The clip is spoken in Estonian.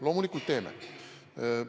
Loomulikult teeme!